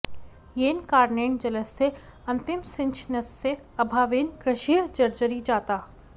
येन कारणेन जलस्य अन्तिमसिंचनस्य अभावेन कृषिः जर्जरी जाता